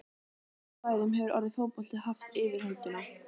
Á öðrum svæðum hefur orðið fótbolti haft yfirhöndina.